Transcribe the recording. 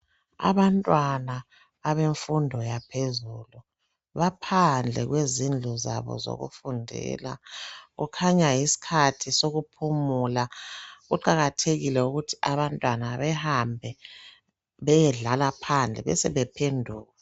Abantwana abemfundo yaphezulu baphandle kwezindlu zabo zokufundela kukhanya yisikhathi sokuphumula kuqakathekile ukuthi abantwana behambe beyedlala phandle besebephenduka.